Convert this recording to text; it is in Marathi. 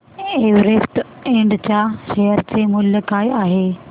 एव्हरेस्ट इंड च्या शेअर चे मूल्य काय आहे